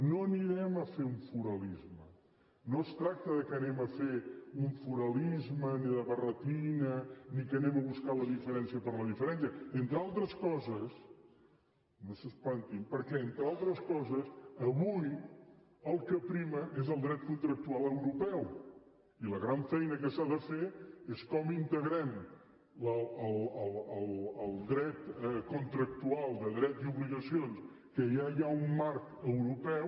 no farem un foralisme no es tracta que fem un foralisme ni de barretina ni que anem a buscar la diferència per la diferència entre altres coses no s’espantin perquè entre altres coses avui el que preval és el dret contractual europeu i la gran feina que s’ha de fer és com integrem el dret contractual de drets i obligacions que ja hi ha un marc europeu